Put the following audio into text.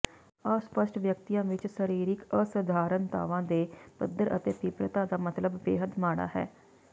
ਅਸਪੱਸ਼ਟ ਵਿਅਕਤੀਆਂ ਵਿੱਚ ਸਰੀਰਕ ਅਸਧਾਰਨਤਾਵਾਂ ਦੇ ਪੱਧਰ ਅਤੇ ਤੀਬਰਤਾ ਦਾ ਮਤਲਬ ਬੇਹੱਦ ਮਾੜਾ ਹੈ